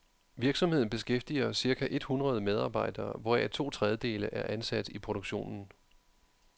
Virksomheden beskæftiger cirka et hundrede medarbejdere, hvoraf to tredjedele er ansat i produktionen.